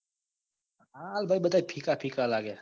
હા ઈ બધા ફીકા ફીકા લાગે જ.